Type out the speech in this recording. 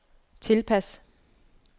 tilpas